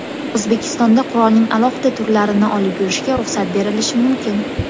O‘zbekistonda qurolning alohida turlarini olib yurishga ruxsat berilishi mumkin.